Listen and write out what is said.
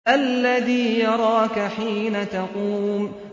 الَّذِي يَرَاكَ حِينَ تَقُومُ